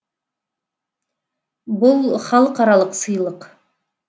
бұл халықаралық сыйлық